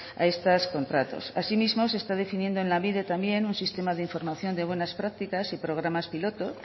a estos contratos asimismo se está definiendo en lanbide también un sistema de información de buenas prácticas y programas piloto